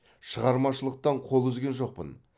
шығармашылықтан қол үзген жоқпын